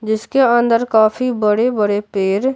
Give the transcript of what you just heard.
जिसके अंदर काफी बड़े-बड़े पेर --